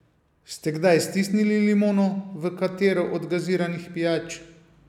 Ste kdaj stisnili limono v katero od gaziranih pijač?